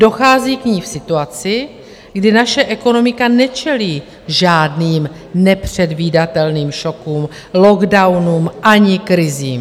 Dochází k ní v situaci, kdy naše ekonomika nečelí žádným nepředvídatelným šokům, lockdownům ani krizím.